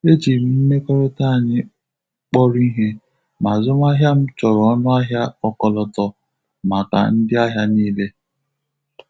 E jị m mmekọrịta anyị kpọrọ ihe, ma azụmahịa m chọrọ ọnụahịa ọkọlọtọ maka ndị ahịa niile.